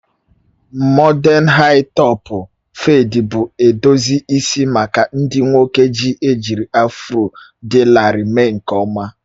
Mọden haị-topụ fedi bụ edozi isi maka ndị nwoke ojii, ejiri afro dị larịị mee nke ọma